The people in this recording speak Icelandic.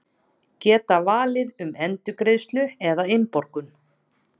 Geta valið um endurgreiðslu eða innborgun